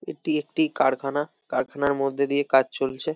এটি একটি কারখানা কারখানার মধ্যে দিয়ে কাজ চলছে।